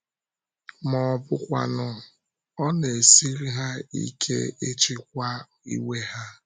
Ma ọ bụkwanụ, ọ na-esiri ha ike ịchịkwa iwe ha.